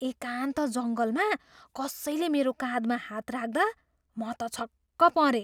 एकान्त जङ्गलमा कसैले मेरो काँधमा हात राख्दा म त छक्क परेँ।